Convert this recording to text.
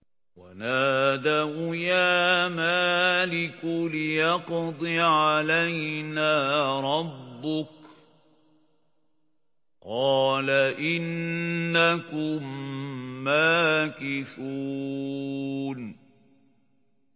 وَنَادَوْا يَا مَالِكُ لِيَقْضِ عَلَيْنَا رَبُّكَ ۖ قَالَ إِنَّكُم مَّاكِثُونَ